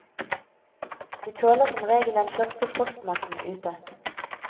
De tåler som regel den første frostnatten ute.